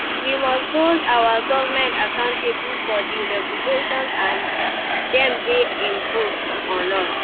We must hold our government accountable for di regulations dem dey impose on us.